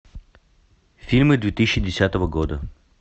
фильмы две тысячи десятого года